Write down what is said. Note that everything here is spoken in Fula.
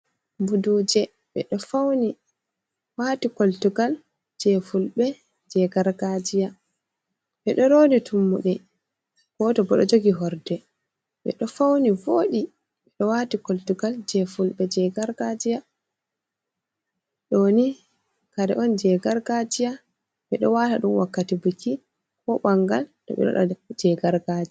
Buduje bedefauni wati koltugal je fulbe je gargajiya, bedo rodi tummude goto bodo jogi horde be do fauni vodi bedo wati koltugal je fulbe je gargajiya doni kare on je gargajiya be do wata dum wakkati buki ko bangal bedo e wada je gargaji.